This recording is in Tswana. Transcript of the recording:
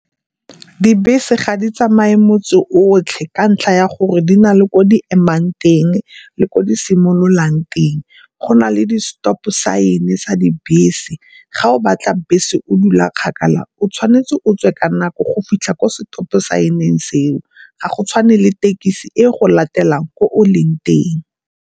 Dibese ga di tsamaye motse otlhe ka ntlha ya gore di na le ko di emang teng le ko di simololang teng. Go na le di stop sign-e sa dibese, ga o batla bese o dula kgakala o tshwanetse o tswe ka nako go fitlha ko setopo sign-eng seo. Ga go tshwane le ditekisi e go latelang ko o leng teng.